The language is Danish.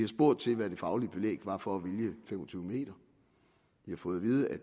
spurgt til hvad det faglige belæg var for at vælge fem og tyve m vi har fået at vide at